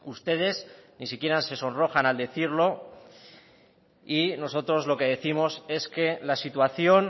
ustedes ni siquiera se sonrojan al decirlo y nosotros lo que décimos es que la situación